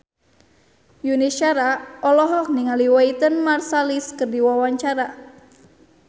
Yuni Shara olohok ningali Wynton Marsalis keur diwawancara